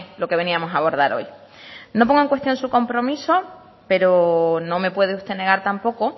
lo que veníamos a abordar hoy no pongo en cuestión su compromiso pero no me puede usted negar tampoco